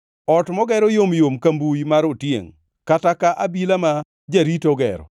Ot mogero yomyom ka mbuyi mar otiengʼ, kata ka abila ma jarito ogero.